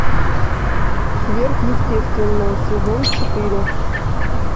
сверхъестественное сезон четыре